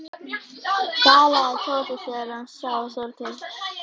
galaði Tóti þegar hann sá Þorgeir.